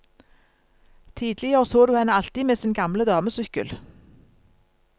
Tidligere så du henne alltid med sin gamle damesykkel.